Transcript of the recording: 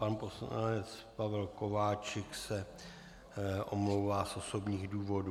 Pan poslanec Pavel Kováčik se omlouvá z osobních důvodů.